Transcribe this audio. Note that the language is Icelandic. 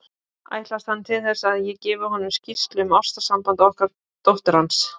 Ætlast hann til þess, að ég gefi honum skýrslu um ástarsamband okkar dóttur hans?